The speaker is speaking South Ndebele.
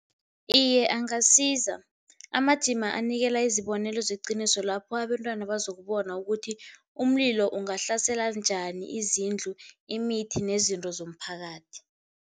Iye angasiza, amajima anikela izibonelo zeqiniso lapho abentwana bazokubona ukuthi umlilo ungahlasela njani izindlu, imithi nezinto zomphakathi.